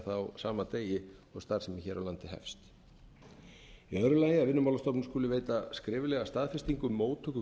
á sama degi og starfsemi hér á landi hefst annað að vinnumálastofnun skuli veita skriflega staðfestingu móttöku